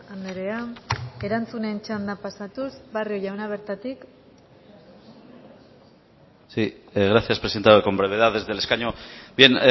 andrea erantzunen txanda pasatuz barrio jauna bertatik si gracias presentado con brevedad desde el escaño bien